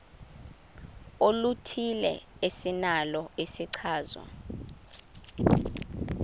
oluthile esinalo isichazwa